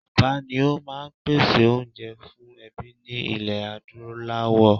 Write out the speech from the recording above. Bàbá́ ni ó máa ń pèsè oúnjẹ fún ẹbí ní ilẹ̀ Adúláwọ̀